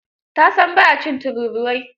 Ta san ba a cin tururuwai.